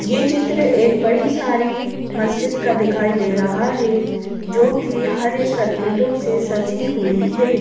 ये चित्र एक बड़ी सारी मस्जिद का दिखाई दे रहा है जो कि हरे सर्किटों से सजी हुई है।